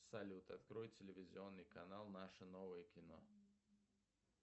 салют открой телевизионный канал наше новое кино